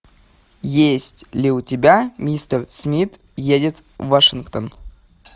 есть ли у тебя мистер смит едет в вашингтон